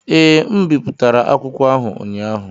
Ee, M bipụtara akwụkwọ ahụ ụnyaahụ.